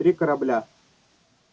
три корабля